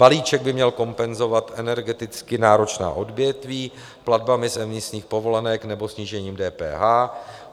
Balíček by měl kompenzovat energeticky náročná odvětví platbami z emisních povolenek nebo snížením DPH.